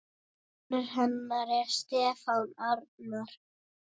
Sonur hennar er Stefán Arnar.